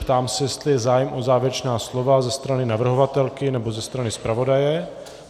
Ptám se, jestli je zájem o závěrečná slova ze strany navrhovatelky nebo ze strany zpravodaje.